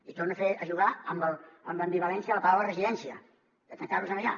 i torno a jugar amb l’ambivalència de la paraula residència de tancar los allà